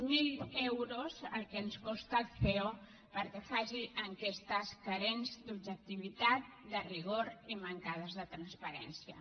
zero euros el que ens costa el ceo perquè faci enquestes mancades d’objectivitat de rigor i mancades de transparència